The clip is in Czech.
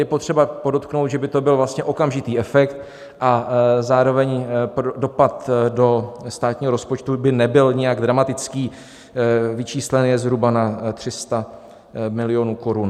Je potřeba podotknout, že by to byl vlastně okamžitý efekt a zároveň dopad do státního rozpočtu by nebyl nijak dramatický, vyčíslen je zhruba na 300 milionů korun.